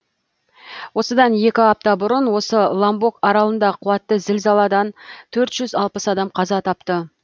осыдан екі апта бұрын осы ломбок аралында қуатты зілзаладан төрт жүз алпыс адам қаза тапты